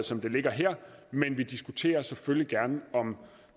som det ligger her men vi diskuterer selvfølgelig gerne om